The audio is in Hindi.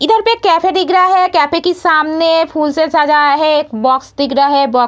इधर पे एक केफे दिख रहा हैं केफे के सामने फूल से सजाया है एक बॉक्स दिख रहा हैं बॉक्स --